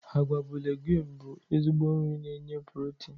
Agwa bụ leguumu bụ ezigbo nri na enye pulotinu.